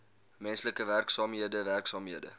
menslike werksaamhede werksaamhede